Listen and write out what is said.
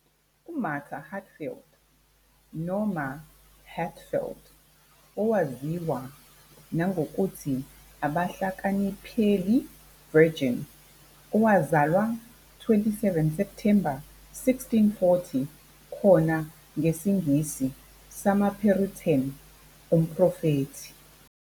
UMarta Hatfield, noma "Hatfeild", owaziwa nangokuthi Abahlakaniphile Virgin, owazalwa 27 September 1640, khona ngesiNgisi samaPuritan umprofethi.